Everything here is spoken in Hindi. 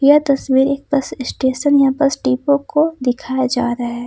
यह तस्वीर एक बस स्टेशन या बस डिपो को दिखाया जा रहा है।